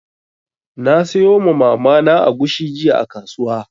Na sayo ma Mama na agushi jiya a kasuwa.